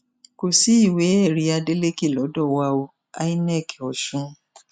kò sí ìwéẹrí adeleke lọdọ wa o inec ọsùn